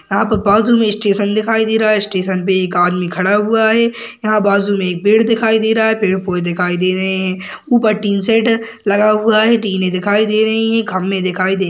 यहाँ पर बाजू में स्टेशन दिखाई दे रहा है स्टेशन पे एक आदमी खड़ा हुआ है यहाँ बाजू में एक पेड़ दिखाई दे रहा है पेड़ कोई दिखाई दे रहे है ऊपर एक टीन शेड लगा हुआ है टीनें दिखाई दे रही है खंबे दिखाई दे --